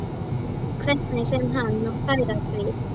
Hvernig sem hann nú færi að því.